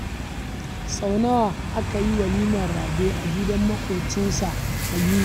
Sau nawa aka yi walimar Rabe a gidan maƙwabcinsa Kabiru?